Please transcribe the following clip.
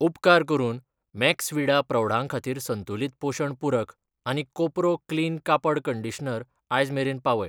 उपकार करून मैक्सविडा प्रौढां खातीर संतुलित पोशण पूरक आनी कोपरो क्लीन कापड कंडीशनर आयज मेरेन पावय.